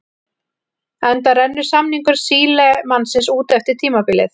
Enda rennur samningur Sílemannsins út eftir tímabilið.